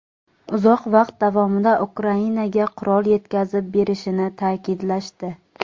uzoq vaqt davomida Ukrainaga qurol yetkazib berishini ta’kidlashdi.